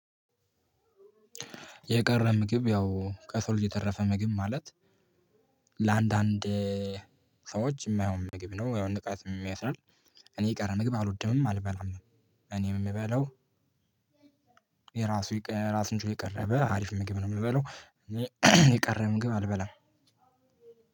የቀረ ምግብ ያው ከሰው ልጅ የተረፈ ምግብ ማለት ለአንዳንድ ሰዎች የማየው ምግብ ነው። ያው ንቃት የሚያስራል እኔ የቀረ ምግብ አልወድምም አልበላምም። እኔ የምበላው የራሱ ራሱ ችሎ የቀረበ አሪፍ ምግብ ነው። የምበላው የቀረ ምግብ አልበላም።